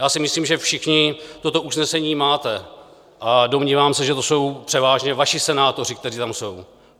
Já si myslím, že všichni toto usnesení máte, a domnívám se, že to jsou převážně vaši senátoři, kteří tam jsou.